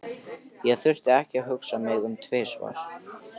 Ég þurfti ekki að hugsa mig um tvisvar.